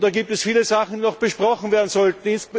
Und da gibt es viele Sachen, die noch besprochen werden sollten.